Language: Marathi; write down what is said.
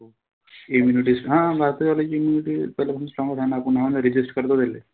Immunity हा भारतावाल्याची immunity पहिलीपासून strong च हाये ना. आपुन resist करतो त्याहीले.